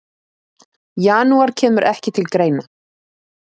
Janúar kemur ekki til greina.